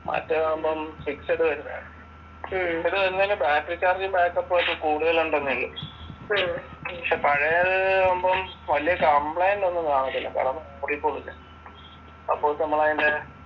മറ്റേതാകുമ്പോൾ fixed വരുന്നത പക്ഷെ പഴയതാകുമ്പോൾ വല്യ കംപ്ലയിന്റ് ഒന്നും കാണത്തില്ല